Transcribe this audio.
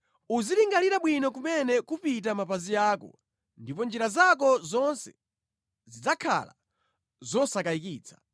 Uzilingalira bwino kumene kupita mapazi ako ndipo njira zako zonse zidzakhala zosakayikitsa.